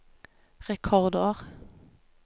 rekordår